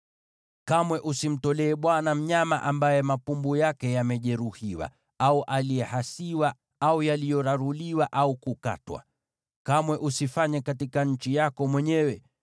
Kamwe usimtolee Bwana mnyama ambaye mapumbu yake yamejeruhiwa, au kuhasiwa, au kuraruliwa au kukatwa. Kamwe usifanye hivi katika nchi yako mwenyewe,